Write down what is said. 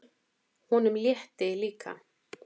Honum létti líka.